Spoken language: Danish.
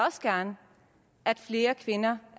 også gerne at flere kvinder